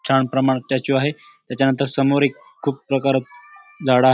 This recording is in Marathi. छान प्रमाणात स्टेचू आहे त्याच्यानंतर समोर एक खूप प्रकारात झाडं --